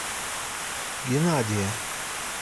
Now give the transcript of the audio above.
геннадия